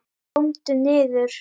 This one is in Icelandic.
KOMDU NIÐUR!